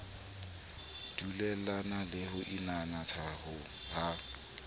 dulellane le ho inanatha ha